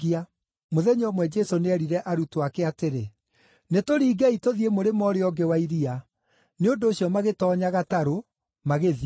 Mũthenya ũmwe Jesũ nĩerire arutwo ake atĩrĩ, “Nĩtũringei tũthiĩ mũrĩmo ũrĩa ũngĩ wa iria.” Nĩ ũndũ ũcio magĩtoonya gatarũ magĩthiĩ.